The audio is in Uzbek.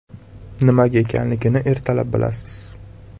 Nimaga ekanligini ertalab bilasiz.